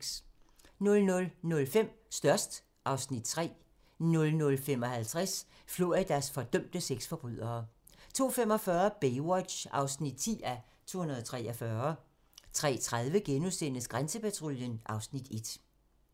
00:05: Størst (Afs. 3) 00:55: Floridas fordømte sexforbrydere 02:45: Baywatch (10:243) 03:30: Grænsepatruljen (Afs. 1)*